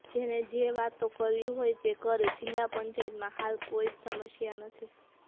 જેને જે વાતો કરવી હોય તે કરે જિલ્લા પંચાયતમાં હાલ કોઈ જ સમસ્યા નથી